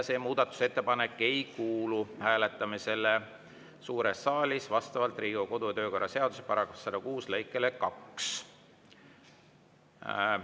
See muudatusettepanek ei kuulu hääletamisele suures saalis vastavalt Riigikogu kodu‑ ja töökorra seaduse § 106 lõikele 2.